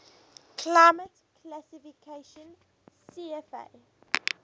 climate classification cfa